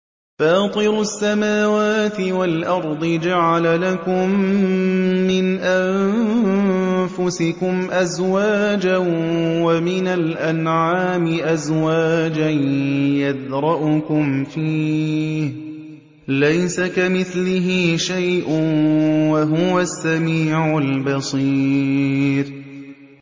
فَاطِرُ السَّمَاوَاتِ وَالْأَرْضِ ۚ جَعَلَ لَكُم مِّنْ أَنفُسِكُمْ أَزْوَاجًا وَمِنَ الْأَنْعَامِ أَزْوَاجًا ۖ يَذْرَؤُكُمْ فِيهِ ۚ لَيْسَ كَمِثْلِهِ شَيْءٌ ۖ وَهُوَ السَّمِيعُ الْبَصِيرُ